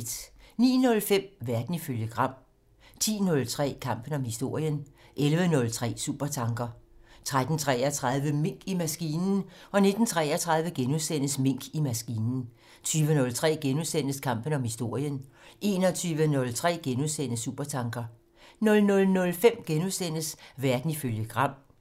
09:05: Verden ifølge Gram 10:03: Kampen om historien 11:03: Supertanker 13:33: Mink i maskinen 19:33: Mink i maskinen * 20:03: Kampen om historien * 21:03: Supertanker * 00:05: Verden ifølge Gram * 05:03: Guld og grønne skove *